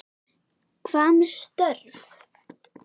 Hvað með störf?